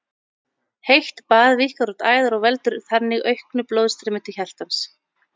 Heitt bað víkkar út æðar og veldur þannig auknu blóðstreymi til hjartans.